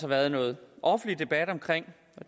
været noget offentlig debat omkring